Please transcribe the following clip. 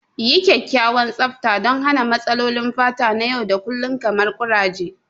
Yi kyakkyawan tsafta don hana matsalolin fata na yau da kullun kamar kuraje.